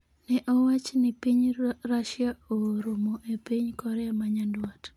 Ne owach ni piny Russia ooro mo e piny Korea ma Nyanduat.